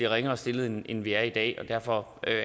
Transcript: ringere stillet end end vi er i dag og derfor